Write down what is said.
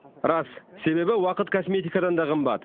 рас себебі уақыт косметикадан да қымбат